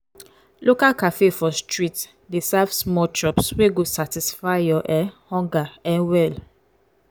local cafe for street dey serve small chops wey go satisfy your um hunger um well.